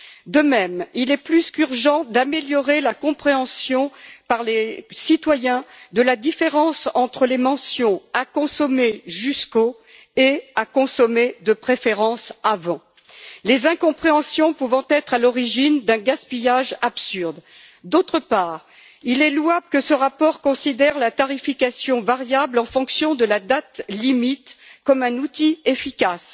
De même, il est plus qu'urgent de faire en sorte que les citoyens comprennent mieux la différence entre les mentions à consommer jusqu'au et à consommer de préférence avant, les incompréhensions pouvant être à l'origine d'un gaspillage absurde. D'autre part, il est louable que ce rapport considère la tarification variable en fonction de la date limite comme un outil efficace.